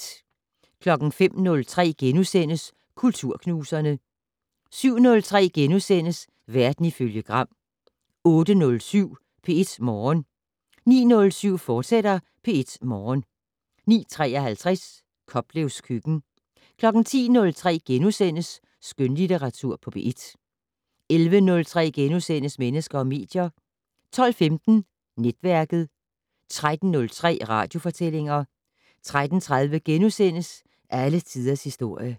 05:03: Kulturknuserne * 07:03: Verden ifølge Gram * 08:07: P1 Morgen 09:07: P1 Morgen, fortsat 09:53: Koplevs køkken 10:03: Skønlitteratur på P1 * 11:03: Mennesker og medier * 12:15: Netværket 13:03: Radiofortællinger 13:30: Alle tiders historie *